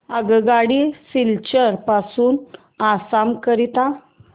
आगगाडी सिलचर पासून आसाम करीता